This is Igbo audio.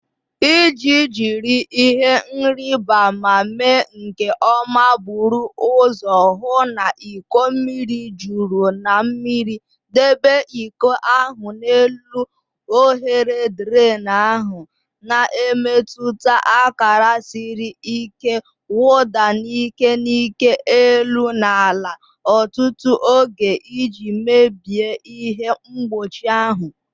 Iji jiri ihe nrịbama mee nke ọma, buru ụzọ hụ na iko mmiri juru na mmiri. Debe iko ahụ n'elu oghere drain ahụ, na-emepụta akara siri ike. Wụda n'ike n'ike elu na ala ọtụtụ oge iji mebie ihe mgbochi ahụ..